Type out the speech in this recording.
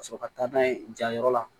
Ka sɔrɔ ka taa n'a ye jayɔrɔ la